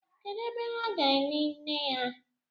kedu ebe ha ga-eni nne ha?